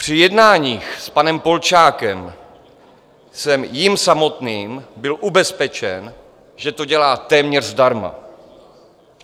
Při jednáních s panem Polčákem jsem jím samotným byl ubezpečen, že to dělá téměř zdarma.